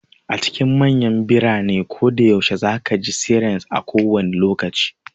A cikin manyan biranen koda yaushe ka ji sirens a kowane lokaci.